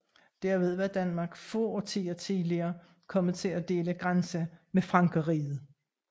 Derved var Danmark få årtier tidligere kommet til at dele grænse med Frankerriget